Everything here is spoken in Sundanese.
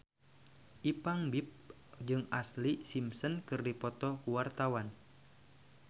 Ipank BIP jeung Ashlee Simpson keur dipoto ku wartawan